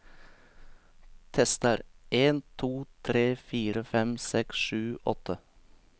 Tester en to tre fire fem seks sju åtte